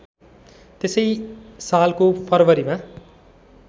त्यसै सालको फरवरीमा